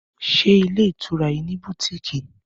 Ṣé ilé ìtura yìí ní bùtíìkì?